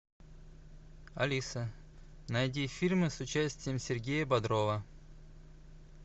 алиса найди фильмы с участием сергея бодрова